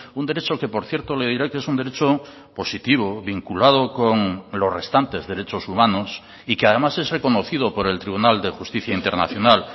un derecho que por cierto le diré que es un derecho positivo vinculado con los restantes derechos humanos y que además es reconocido por el tribunal de justicia internacional